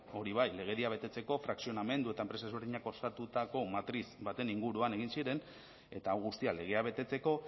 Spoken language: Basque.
legedia betetzeko frakzionamendu eta enpresa ezberdinek osatutako matriz baten inguruan egin ziren eta hau guztia legea betetzeko